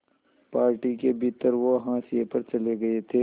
party के भीतर वो हाशिए पर चले गए थे